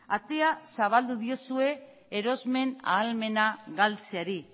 atea zabaldu diozue erosmen ahalmena galtzeari